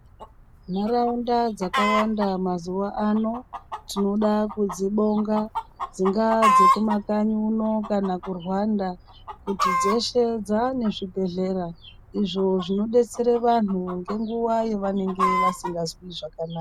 Nharaunda dzakawanda mazuva ano dzingava dzekuma kanyi uno kana kurwanda kuti dzeshe dzavane zvibhedhlera izvo zvinodetsera vantu ngenguwa yavanenge vasinganzwi zvakanaka.